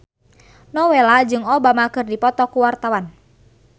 Nowela jeung Obama keur dipoto ku wartawan